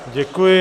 Děkuji.